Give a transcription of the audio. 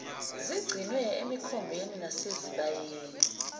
zigcinwe emikhombeni nasezibayeni